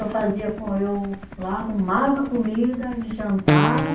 Eu fazia com, eu, lá arrumava a comida, eles jantavam.